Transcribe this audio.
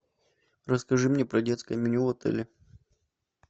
расскажи мне про детское меню в отеле